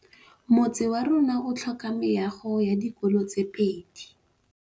Motse warona o tlhoka meago ya dikolô tse pedi.